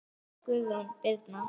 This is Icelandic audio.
Guðrún Birna.